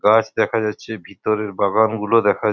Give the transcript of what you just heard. গাছ দেখা যাচ্ছে ভিতরের বাগান গুলো দেখা --